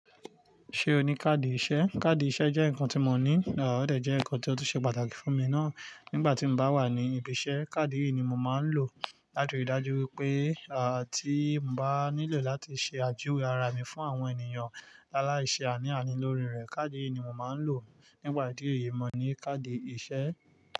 Ṣé o ní káàdì ìṣe? Káàdì ìṣe jẹ́ nǹkan tí mo ní, à ọ̀dẹ jẹ́ nǹkan tó ti ṣe pàtàkì fún mi náà. Nígbà tí mo bá wà ní ibi iṣẹ́, káàdì yìí ni mo máa ń lò. Látirí dájú wípé à tí mo bá nílò láti ṣe àjúwe ara mi fún àwọn ènìyàn alaise àní àní lórí rẹ, káàdì yìí ni mo máa ń lò. Nípà ìdí yìí, mo ní káàdì ìṣe.